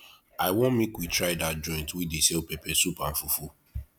i wan make we try dat joint wey dey sell pepper soup and fufu